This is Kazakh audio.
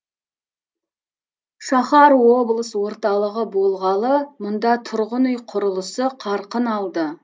шаһар облыс орталығы болғалы мұнда тұрғын үй құрылысы қарқын алды